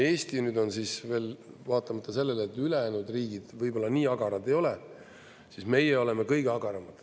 Eesti on veel vaatamata sellele, et ülejäänud riigid võib-olla nii agarad ei ole, siis meie oleme kõige agaramad.